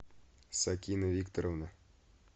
сакина викторовна